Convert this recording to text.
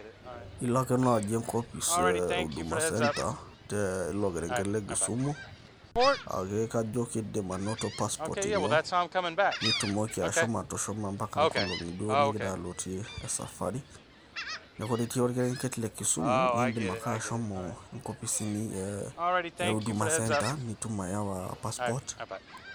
ilo ake naaji enkopis e huduma center teilo kerenket le Kisumu. Ajo nidim anoto passport ino. nitumoki ashomo atushuma mpaka nkolongi duo nigira aloitie e safari, neeku ore itii orkerenket le Kisumu. nidim ake ashomo inkopisini e huduma center ,nidim ayau passport.